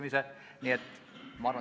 Aitäh!